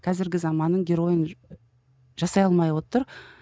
қазіргі заманның геройын жасай алмай отыр